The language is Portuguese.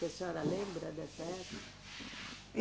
Que a senhora lembra dessa época?